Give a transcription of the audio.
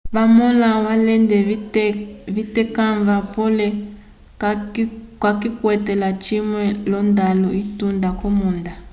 vamõla alende vitekãva pole kayikwete lacimwe l'ondalu itunda k'omunda